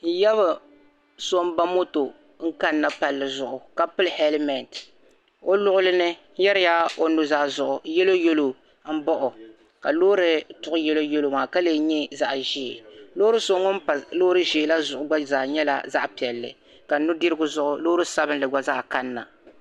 N yaba so m ba moto n kan na palli zuɣu ka pili heliment o luɣilini n yerila o nu zaa zuɣu yɛlo yɛlo m baɣa o ka loori tuɣi yɛlo yɛlo ka lee nyɛ zaɣi ʒee ka loori so ŋun gba zaa nyɛla zaɣi piɛli ka nudirigu loori sabili gba zaa kan na